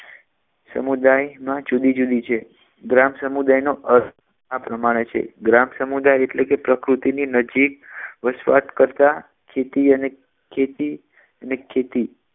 સમુદાય માં જુદી જુદી છે ગ્રામ સમુદાયનો અર્થ આ પ્રમાણે છે ગ્રામ સમુદાય એટલે કે પ્રકૃતિ ની નજીક વસવાટ કરતા ખેતી અને ખેતી અને ખેતી